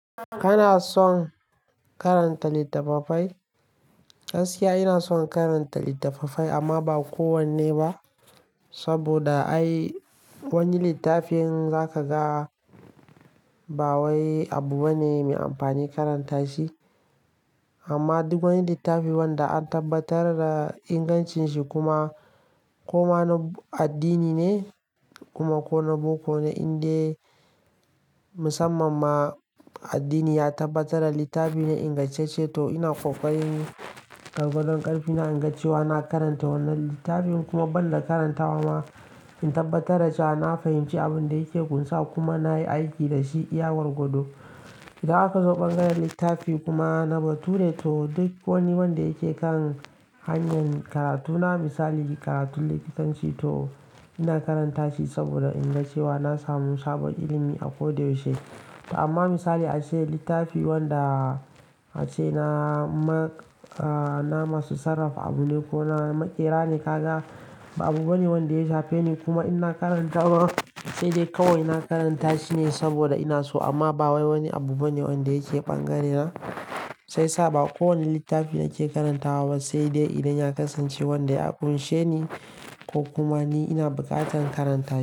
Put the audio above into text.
Kana son karanta littattafai? Gaskiya, ina son karanta littattafai amma ba kowanne ba. Saboda ai wani littafin za ka ga ba wai abu bane mai amfani karanta shi. Amma duk wani littafi wanda an tabbatar da ingancin shi kuma ko mana addini ne kuma ko na boko, na Inde musamman ma addini ya tabbatar da littafi ne ingance ce to ina kokarin gargadon ƙarfi na inga cewa na karanta wannan littafin kuma ban da karanta wa ma in tabbatar da cewa na fahimci abin da yake ƙunsar kuma na yi aiki da shi iya gwagwado. Idan aka zo bangaren littafi kuma na bature to duk wani wanda yake kan hanyar karatu na misali karatun likitanci to ina karanta shi saboda inga cewa na samu sabon ilimi akwai da yaushe. Amma misali ace littafi wanda ashe na masu sarrafa abu ne ko na maƙera ne ka ga ba abu bane wanda ya shafe ni kuma ina karanta ma sai dai kawai na karanta shi ne saboda ina so amma ba wai wani abu bane wanda yake ɓangarena. Sai sa ba kowane littafi nake karantawa ba sai dai idan ya kasance wanda ya ƙunshe ni ko kuma ni ina buƙatar karanta shi.